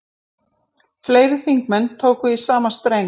Fleiri þingmenn tóku í sama streng